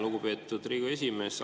Lugupeetud Riigikogu esimees!